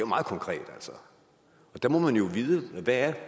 meget konkret og der må man jo vide hvad